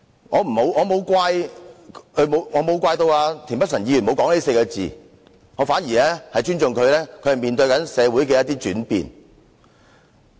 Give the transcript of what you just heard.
我不會怪責田北辰議員沒有說這4個字，我反而尊重他面對社會的轉變。